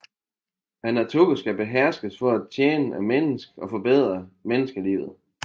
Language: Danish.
Naturen skal beherskes for at tjene mennesket og forbedre menneskelivet